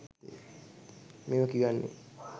මේව කියන්නෙ